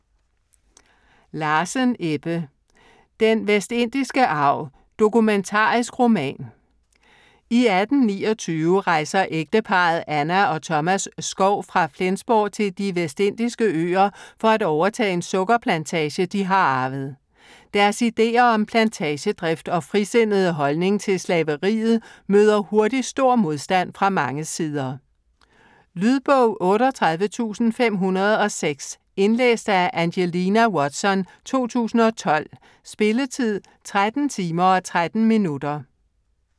Larsen, Ebbe: Den vestindiske arv: dokumentarisk roman I 1829 rejser ægteparret Anna og Thomas Skov fra Flensborg til De Vestindiske Øer for at overtage en sukkerplantage, de har arvet. Deres ideer om plantagedrift og frisindede holdning til slaveriet møder hurtigt stor modstand fra mange sider. Lydbog 38506 Indlæst af Angelina Watson, 2012. Spilletid: 13 timer, 13 minutter.